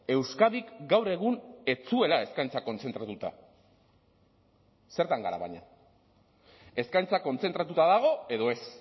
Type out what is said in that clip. euskadik gaur egun ez zuela eskaintza kontzentratuta zertan gara baina eskaintza kontzentratuta dago edo ez